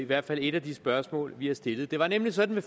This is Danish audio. hvert fald et af de spørgsmål vi har stillet det var nemlig sådan at